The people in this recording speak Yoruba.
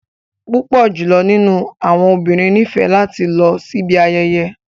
Pupọ julọ ninu awọn obinrin nifẹ lati lọ sibi ayeye.